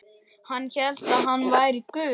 Hann hélt hann væri Guð.